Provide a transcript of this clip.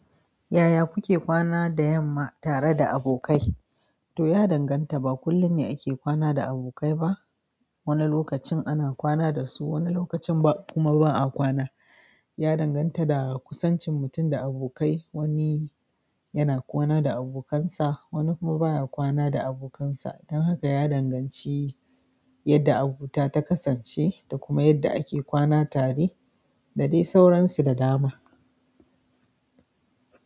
Yaya kuke kwana da yamma tare da abokai? To, ya danganta ba kullum ne ake kwana da abokai ba. Wani lokacin ana kwana dasu wani lokacin kuma ba a kwana ya danganta da kusancin mutum da abokai. Wani yana kwana da abokansa wani kuma baya kwana da abokansa dan haka ya danganci yadda abota ta kasance da kuma yadda ake kwana tare da dai sauransu da dama.